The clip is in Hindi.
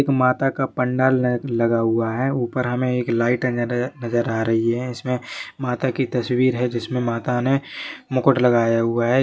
एक माता का पंडाल लगा हुआ है ऊपर हमें एक लाइटे नज़र आ रही है इसमे माता की तस्वीर है जिसमे माता ने मुकुट लगाया हुआ है।